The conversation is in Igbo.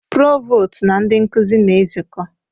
Provọ́stụ na ndị nkuzi na-ezukọ.